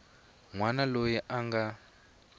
n wana loyi a nga